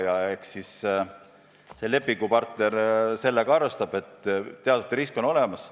Ja eks siis see lepingupartner arvestab, et teatud risk on olemas.